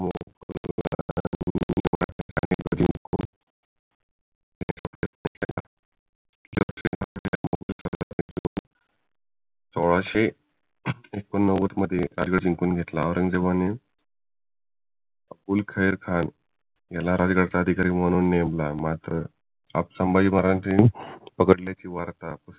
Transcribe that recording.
सोळाशे एकोन्नव्वदमध्ये जिंखून घेतला औरंगजेबाने अब्बूखैर खाण याला राजगडचा अधिकारी म्हणून नेमला मात्र संभाजी महाराजांना पकडल्याची वार्ता